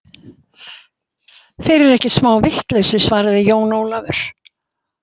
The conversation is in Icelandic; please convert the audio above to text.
Þeir eru ekkert smá vitlausir, svaraði Jón Ólafur.